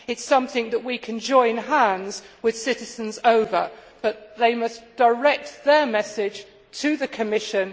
It is something that we can join hands with citizens over, but they must direct their message to the Commission.